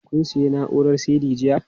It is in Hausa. Kun sayi na'urar CD jiya?